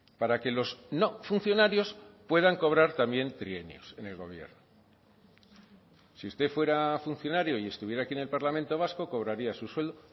para que los no funcionarios puedan cobrar también trienios en el gobierno si usted fuera funcionario y estuviera aquí en el parlamento vasco cobraría su suelo